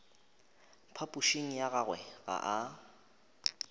phapošing ya gagwe ga a